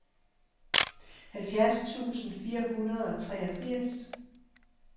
halvfjerds tusind fire hundrede og treogfirs